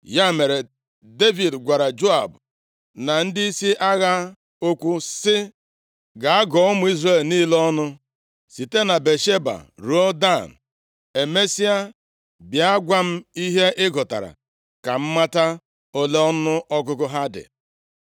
Ya mere, Devid gwara Joab na ndịisi agha okwu sị, “Gaa gụọ ụmụ Izrel niile ọnụ, site na Bịasheba ruo Dan. Emesịa, bịa gwa m ihe ị gụtara ka m mata ole ọnụọgụgụ ha dị.”